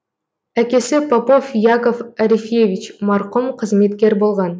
әкесі попов яков арефьевич марқұм қызметкер болған